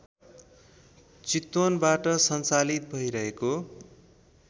चितवनबाट सञ्चालित भैरहेको